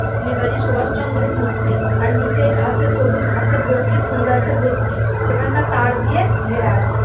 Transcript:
নেতাজি সুভাষচন্দ্র মূর্তি। আর নিচে ঘাসে সবুজ ঘাসে ভর্তি ফুল গাছে ভর্তি। সেখানটা তার দিয়ে ঘেরা আছে।